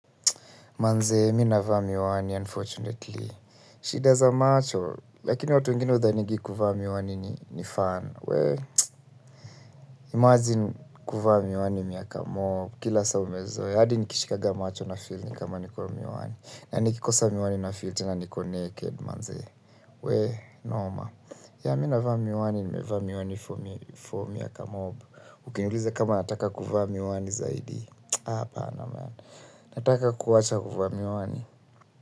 Manzee, mi navaa miwani, unfortunately. Shida za macho. Lakini watu wengine hudhaningi kuvaa miwani ni fan. Wee, imagine kuvaa miwani miaka mob. Kila saa umezoe, hadi nikishikanga macho nafil nikama niko miwani. Na nikikosa miwani nafil tena niko naked, manzee. Wee, normal. Ya, mi navaa miwani, nimevaa miwani for miaka mob. Ukiniulize kama nataka kuvaa miwani zaidi. Ha, hapana, man. Nataka kuwacha kuvaa miwani.